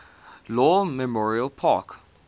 lawn memorial park